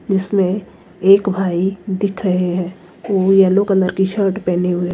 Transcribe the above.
जिसमें एक भाई दिख रहे हैं वो येलो कलर की शर्ट पहनी हुई।